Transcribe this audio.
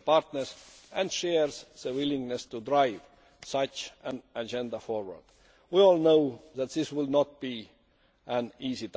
partners and shares the willingness to drive such an agenda forward. We all know that this will not be an easy